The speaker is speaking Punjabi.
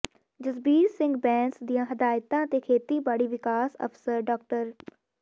ਜਸਬੀਰ ਸਿੰਘ ਬੈਂਸ ਦੀਆਂ ਹਦਾਇਤਾਂ ਤੇ ਖੇਤੀਬਾੜੀ ਵਿਕਾਸ ਅਫਸਰ ਡਾ